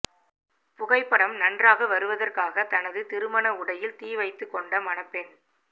புகைப்படம் நன்றாக வருவதற்காக தனது திருமண உடையில் தீவைத்து கொண்ட மணப்பெண்